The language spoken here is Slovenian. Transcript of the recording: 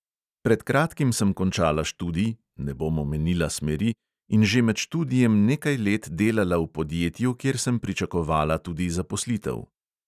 Pred kratkim sem končala študij, ne bom omenila smeri, in že med študijem nekaj let delala v podjetju, kjer sem pričakovala tudi zaposlitev.